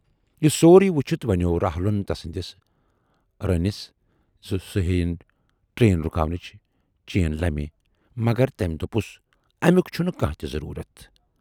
یہِ سورُے وُچھِتھ ونیاو راہُلن تسٕندِس روٗنِس زِ سُہ ہییِن ٹرن رُکاونٕچ چینہِ لمہٕ، مگر تمٔۍ دوپُس امیُک چھُنہٕ کانہہ تہِ ضروٗرت۔